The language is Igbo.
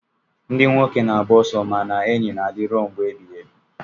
ndị nwoke na-agba ọsọ mana enyi na-adị ruo mgbe ebighị ebi